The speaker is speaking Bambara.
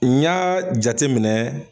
N y'a jate minɛ